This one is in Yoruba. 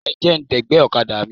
Ẹ jẹ́ ń dẹ̀gbẹ́ ọ̀kadà mi.